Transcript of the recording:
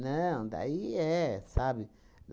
Não, daí é, sabe?